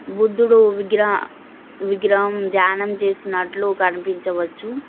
బుద్ధుడు విగ్ర విగ్రహం ద్యానం చేసినట్లు కనిపించవచ్చు.